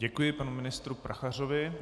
Děkuji panu ministru Prachařovi.